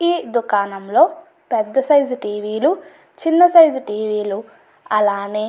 ఈ దుకాణంలోని పెద్ద సైజు టీవీలు చిన్న సైజు టీవీలు అలానే --